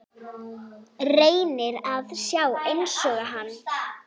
Reynir að sjá einsog hann.